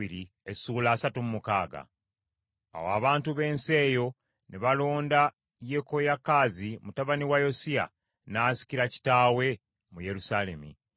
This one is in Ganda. Awo abantu b’ensi eyo ne balonda Yekoyakaazi mutabani wa Yosiya, n’asikira kitaawe mu Yerusaalemi.